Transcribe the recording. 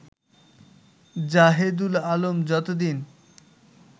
জাহেদুল আলম যতদিন